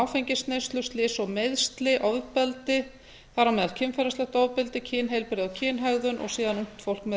áfengisneyslu slys og meiðsli ofbeldi þar á meðal kynferðislegt ofbeldi kynheilbrigði og kynhegðun og síðan ungt fólk með